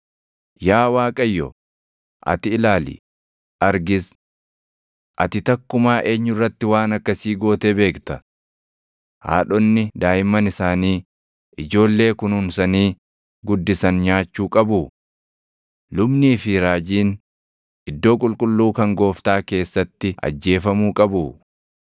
“Yaa Waaqayyo, ati ilaali; argis: Ati takkumaa eenyu irratti waan akkasii gootee beekta? Haadhonni daaʼimman isaanii, ijoollee kunuunsanii guddisan nyaachuu qabuu? Lubnii fi raajiin, iddoo qulqulluu kan Gooftaa keessatti ajjeefamuu qabuu?